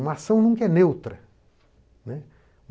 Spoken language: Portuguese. Uma ação nunca é neutra, né.